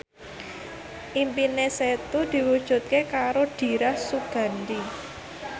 impine Setu diwujudke karo Dira Sugandi